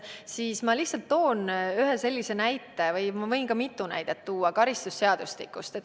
Ma toon ühe näite karistusseadustikust, aga võin ka mitu näidet tuua.